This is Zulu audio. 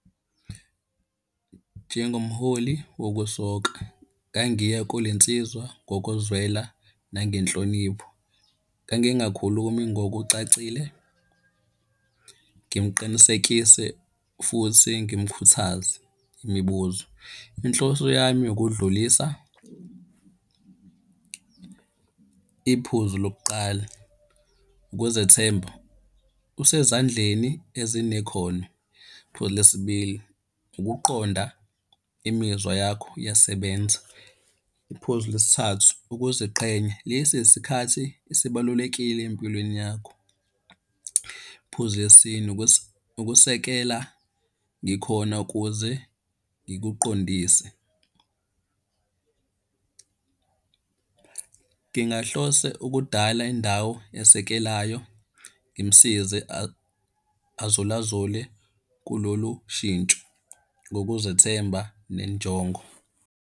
Njengomholi wokusoka ngangiya kule nsizwa ngokuzwela nangenhlonipho. Ngangingakhulumi ngokucacile, ngimuqinisekise futhi ngimukhuthaze. Imibuzo, inhloso yami ukudlulisa iphuzu lokuqala, ukuzethemba, usezandleni ezinekhono. Iphuzu lesibili, ukuqonda imizwa yakho iyasebenza. Iphuzu lesithathu, ukuziqhenya, lesi isikhathi esibalulekile empilweni yakho. Phuzu lesine, ukusekela ngikhona ukuze ngikuqondise. Ngingahlose ukudala indawo esekelayo ngimusize azulazule kulolu shintsho ngokuzethemba nenjongo.